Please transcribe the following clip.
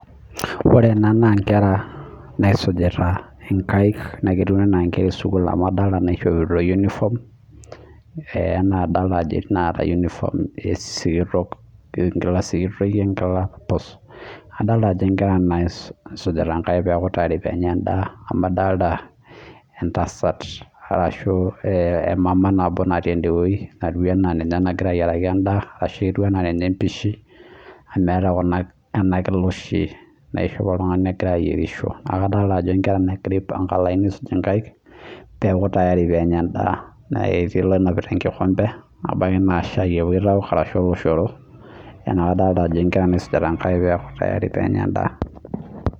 Ore Kuna naa nkera naisujita nkaek naaketiu enaa nkera esukul amu adolita ajo etii naishopito uniform etii naata uniform sikitok, enkila sikitoi wenkila pus adolita ajo nkera naisujita nkaek pee eku tayari pee enya enadd ,amu idolita entasat ashu emama natii endeweji natii enaa ninye nagira ayieraki endaa ashu ninye empisha amu eeta ena Kila oshi naishopi oltungani ogira ayierisho, neeku kadolita ajo nkera naagira aipanga olaini aisuj nkaek pee eku tayari pee enya endaa, naa kiti olonapita enkikompe ebaiki naa oloshoro ashua shaai eokito neeku nkera naisujita nkaek pee etumoki ainosa endaa.